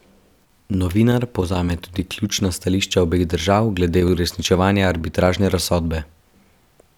Novinar povzame tudi ključna stališča obeh držav glede uresničevanja arbitražne razsodbe.